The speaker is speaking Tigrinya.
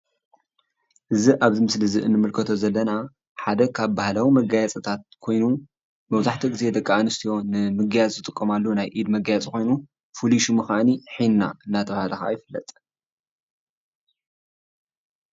እዙይ ኣብ ምስሊ እንምልከቶ ዘለና ሓደ ካብ ባህላዊ መጋየፅታት ካይኑ መብዛሕትኡ ግዜ ደቂ ኣንስትዮ ንምግያፅ ዝጥቀማሉ ናይ ኢድ መጋየፂ ካይኑ ፍሉይ ሽሙ ድማ ሒና እናተባህለ ይፍለጥ።